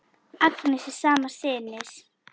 Agnes er sama sinnis.